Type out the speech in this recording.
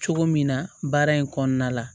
Cogo min na baara in kɔnɔna la